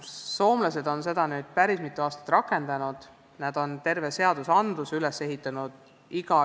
Soomlased on seda päris mitu aastat rakendanud, nad on õpitee otsimise peale terve seaduse üles ehitanud.